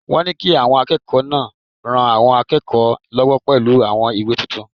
Wọ́n ní kí àwọn akẹ́kọ̀ọ́ náà ran àwọn akẹ́kọ̀ọ́ lọ́wọ́ pẹ̀lú àwọn ìwé tuntun